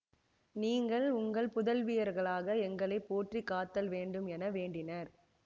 நீங்கள் உங்கள் புதல்வியர்களாக எங்களை போற்றி காத்தல் வேண்டும் என வேண்டினர்